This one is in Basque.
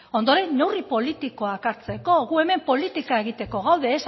ondoren neurri politikoak hartzeko gu hemen politika egiteko gaude ez